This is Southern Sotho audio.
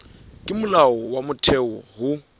ke molao wa motheo ho